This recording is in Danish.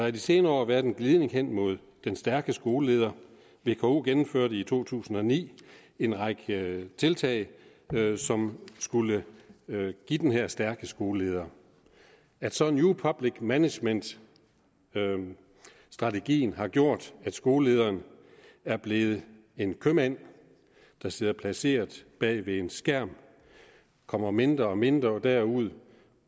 i de senere år været en glidning hen imod den stærke skoleleder vko gennemførte i to tusind og ni en række tiltag som skulle give den her stærke skoleleder at så new public management strategien har gjort at skolelederen er blevet en købmand der sidder placeret bag ved en skærm og kommer mindre og mindre derud